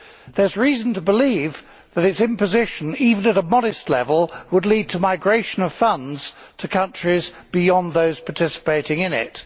There is reason to believe that its imposition, even at a modest level, would lead to the migration of funds to countries beyond those participating in it.